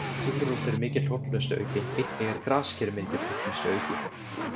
Gulrót er mikil hollustuauki, einnig er grasker mikill hollustuauki.